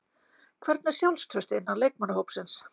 Hvernig er sjálfstraustið innan leikmannahópsins?